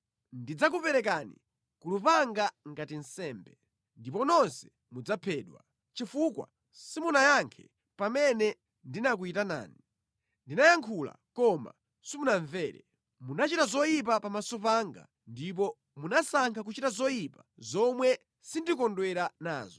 ndidzakuperekani ku lupanga ngati nsembe, ndipo nonse mudzaphedwa; chifukwa simunayankhe pamene ndinakuyitanani, ndinayankhula koma simunamvere. Munachita zoyipa pamaso panga ndipo munasankha kuchita zoyipa zomwe sindikondwera nazo.”